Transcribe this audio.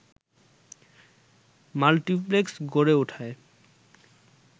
multiplex গড়ে ওঠায়